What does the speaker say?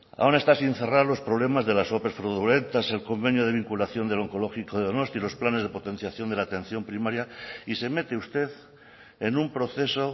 aún está sin cerrar los problemas de las ope fraudulentas el convenio de vinculación del onkologiko de donosti los planes de potenciación de la atención primaria y se mete usted en un proceso